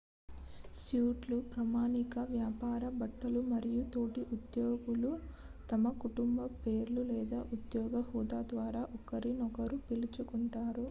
suit లు ప్రామాణిక వ్యాపార బట్టలు మరియు తోటి ఉద్యోగులు తమ కుటుంబ పేర్లు లేదా ఉద్యోగ హోదా ద్వారా ఒకరినొకరు పిలుచుకుంటారు